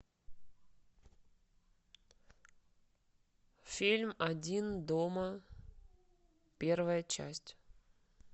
фильм один дома первая часть